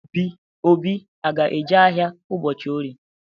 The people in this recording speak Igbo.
Obi a ga-eje ahịa ụbọchị Orie?